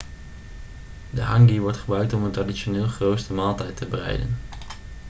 de hangi wordt gebruikt om een traditioneel geroosterde maaltijd te bereiden